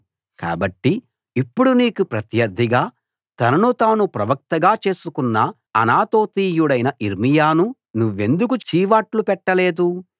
కాబట్టి ఇప్పుడు నీకు ప్రత్యర్ధిగా తనను తాను ప్రవక్తగా చేసుకున్న అనాతోతీయుడైన యిర్మీయాను నువ్వెందుకు చీవాట్లు పెట్టలేదు